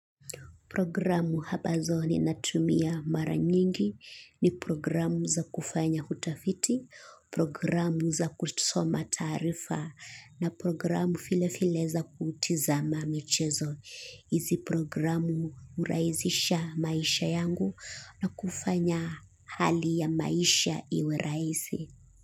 Programu ambazo ninatumia mara nyingi ni programu za kufanya utafiti, programu za kusoma taarifa na programu vile vile za kutizama michezo. Hizi programu hurahisisha maisha yangu na kufanya hali ya maisha iwe rahisi.